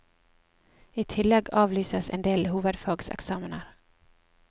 I tillegg avlyses en del hovefagseksamener.